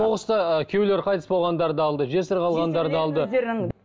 соғыста ыыы күйеулері қайтыс болғандарды алды жесір қалғандарды алды